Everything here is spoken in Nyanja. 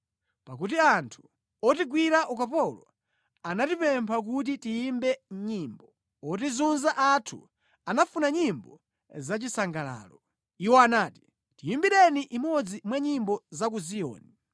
pakuti anthu otigwira ukapolo anatipempha kuti tiyimbe nyimbo. Otizunza athu anafuna nyimbo zachisangalalo; iwo anati, “Tiyimbireni imodzi mwa nyimbo za ku Ziyoni!”